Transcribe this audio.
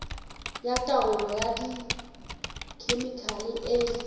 ya taolo ka dikhemikhale e